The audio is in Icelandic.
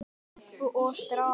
Stelpu og strák.